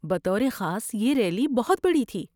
بطور خاص یہ ریلی بہت بڑی تھی۔